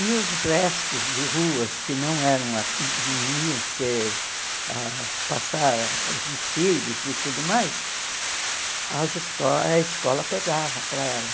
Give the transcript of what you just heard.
E os restos de ruas que não eram a não iam ser ãh passar os desfiles e tudo mais, as esco a escola pegava para ela.